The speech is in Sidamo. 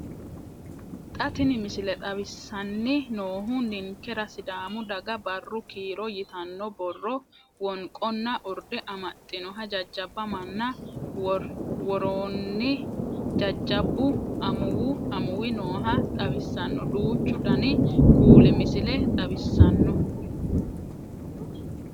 Xa tini misile xawissanni noohu ninkera sidaamu daga barru kiiro yitanno borro, wonqonna urde amaxxinoha jajabba manna woroonnijajhabbu amuwi nooha xawissanno duuchu dani kuuli misile xawissanno.